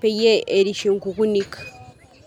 peyie erishie nkukunik.